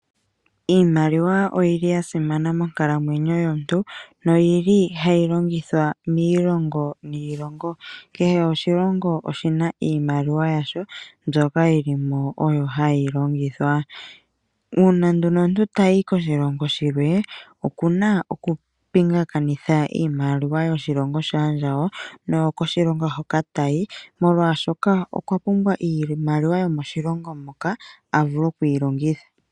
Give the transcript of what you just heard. Iimaliwa oyili ya simana monkalamwenyo yomuntu noyili hayi longithwa miilongo niilongo. Kehe oshilongo oshi na iimaliwa yasho mbyoka yi li mo oyo hayi longithwa. Uuna nduno omuntu tayi koshilongo shilwe okuna okupingakanitha iimaliwa yoshilongo shaandjawo noyokoshilongo hoka tayi molwashoka okwa pumbwa iimaliwa yomoshilongo moka a vule okuyi longitha.